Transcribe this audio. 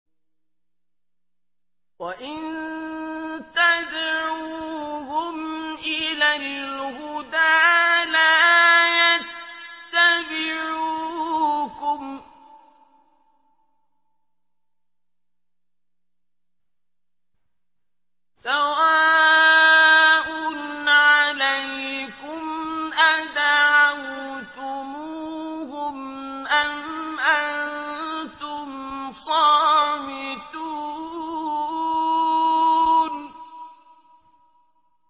وَإِن تَدْعُوهُمْ إِلَى الْهُدَىٰ لَا يَتَّبِعُوكُمْ ۚ سَوَاءٌ عَلَيْكُمْ أَدَعَوْتُمُوهُمْ أَمْ أَنتُمْ صَامِتُونَ